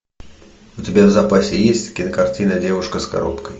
у тебя в запасе есть кинокартина девушка с коробкой